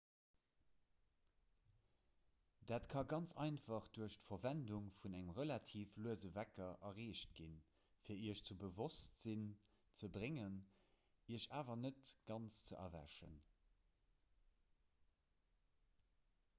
dat ka ganz einfach duerch d'verwendung vun engem relativ luese wecker erreecht ginn fir iech zum bewosstsinn ze bréngen iech awer net ganz ze erwächen